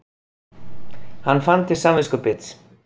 Hann fann til samviskubits.